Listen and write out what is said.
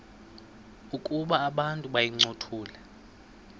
ukuba abantu bayincothule